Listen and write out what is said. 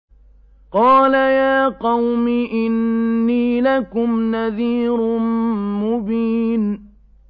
قَالَ يَا قَوْمِ إِنِّي لَكُمْ نَذِيرٌ مُّبِينٌ